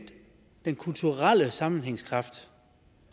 den kulturelle sammenhængskraft